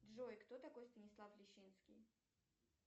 джой кто такой станислав лещинский